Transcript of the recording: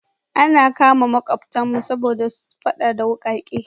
An kama makwabtanmu saboda fada da wukake.